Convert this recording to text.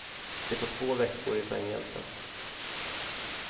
De får två veckor i fängelse.